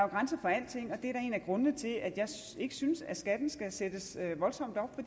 grænser for alting og det er da en af grundene til at jeg ikke synes at skatten skal sættes voldsomt op